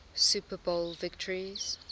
super bowl victories